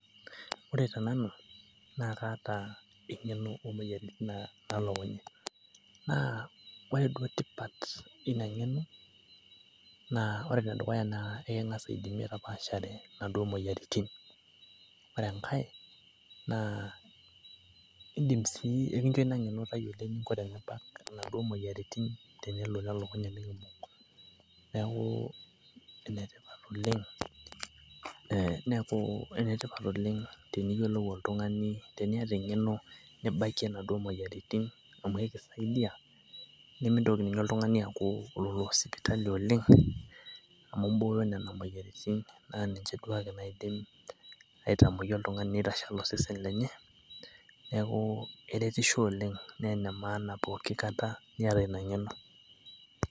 ore tenanu naa kaata engeno oomoyiaritin naalokunye, naa ore duo tipat eina ng'eno, naa ore enedukuya eking'as aidimie tapaashare nena moyiaritin, ore enkae naa ekincho tayiolo eninko tenibak inaduoo moyiaritin. neeku ene tipat oleng teniyiolou oltungani, teniata engeno, nibakie inabakie inaduoo moyiaritin neeku milo sipitali oleng. neeku keretisho pooki kata, neeku ene tipat teniata ine ng'eno.